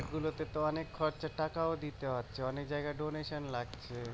গুলোতে তো অনেক খরচা অনেক টাকাও দিতে হচ্ছে অনেক জায়গায় donation লাগছে